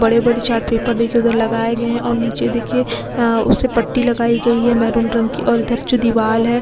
बड़े-बड़े chart paper देखिये उधर लगाए गए है और नीचे देखिए आ उसे पट्टी लगाई गई है मैरून रंग की और इधर जो दीवाल है --